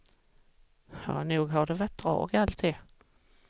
Nog har det varit drag, alltid.